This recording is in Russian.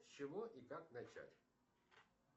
с чего и как начать